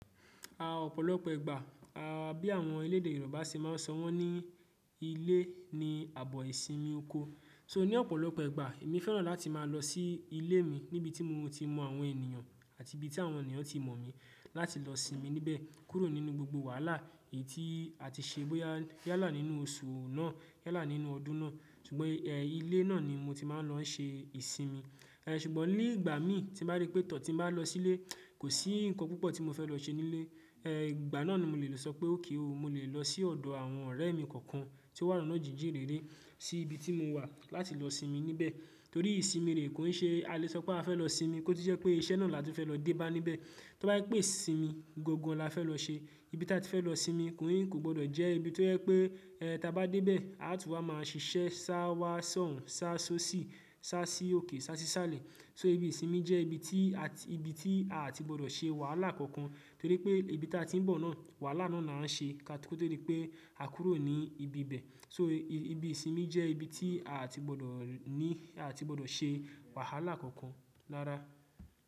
À ọ̀pọ̀lọpọ̀ ìgbà, a bí àwọn elédè Yorùbá ṣe ma ń sọ wọ́n ní ilé ni ààbò ìsinmi oko. So ní ọ̀pọ̀lọpọ̀ ìgbà, èmi fẹ́ràn láti máa lọ sí ilé mi níbi tí mo ti mọ àwọn ènìyàn àti ibi tí àwọn ènìyàn ti mọ̀ mí láti lọ sinmi níbẹ̀, kúrò nínú gbogbo wàhálà èyí tí a ti ṣe bóyá yálà nínú oṣù náà, yálà nínú ọdún náà. Ṣùgbọ́n ẹ́, ilé náà ni mo ti máa ń lọ ṣe ìsinmi. Ẹ̀ ṣùgbọ́n ní ìgbà mi tí mo bá rí pé tọ̀ tí mo bá lọ sílé, kò sí ǹkan púpọ̀ tí mo fẹ́ lọ ṣe nílé. Ẹ ìgbà náà ni mo lè lọ sọ pé ókè o, mo lè lọ sí ọ̀dọ̀ àwọn ọ̀rẹ́ mi kọ̀ọ̀kan tí ó wà lọ́nà jíjìn réré sí ibi tí mo wà láti lọ sinmi níbẹ̀. Torí ìsinmi rè kò ń ṣe, a lè sọ pé a fẹ́ lọ sinmi, kó tí jẹ́ pé iṣẹ́ náà là tún fẹ́ lọ dé bá níbẹ̀. Tó bá jẹ pé isinmi, gángan la fẹ́ lọ ṣe. Ibi tí a ti fẹ́ lọ sinmi, kò gbọdọ̀ jẹ́ ibi tó jẹ pé ẹ́ tí a bá dé bẹ̀, a tún wá máa ṣiṣẹ́ sá wá sọ́hùn, sá só ṣì, sá sí òkè, sá sí sàlẹ̀. So ibi ìsinmi jẹ́ ibi tí a tí, ibi tí a à tí gbọdọ̀ ṣe wàhálà kankan. Torí pé ibi tí a ti ń bọ̀ náà, wàhálà náà la ń ṣe, kó tó dí pé à kúrò ní ibi bẹ̀. So, ibi ìsinmi jẹ́ ibi tí a à tí gbọdọ̀ ní, a à tí gbọdọ̀ ṣe wàhálà kankan rára.